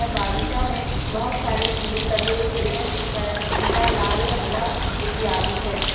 बगीचा में बहुत सारे फूल लगे हुए हैं जिसका रंग पीला लाल हरा इत्यादि है।